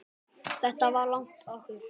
Þetta var lagið okkar.